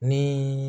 Ni